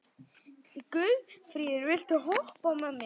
Guðfríður, viltu hoppa með mér?